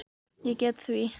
Ég get því